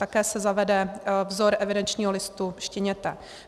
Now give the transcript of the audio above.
Také se zavede vzor evidenčního listu štěněte.